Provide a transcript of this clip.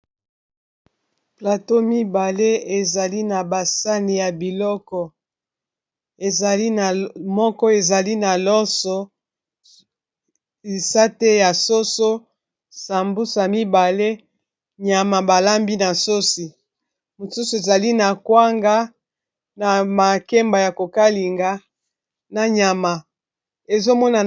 Plateau mibale ezali na basani ya biloko ezali moko ezali na loso lisate ya soso sambusa mibale nyama balambi na sosi mosusu ezali na kwanga na makemba ya kokalinga na nyama ezomona.